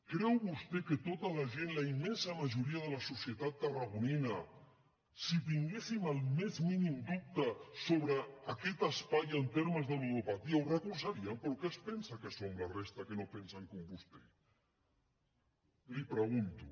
creu vostè que tota la gent la immensa majoria de la societat tarragonina si tinguéssim el més mínim dubte sobre aquest espai en termes de ludopatia ho recolzaríem però què es pensa que som la resta que no pensen com vostè li ho pregunto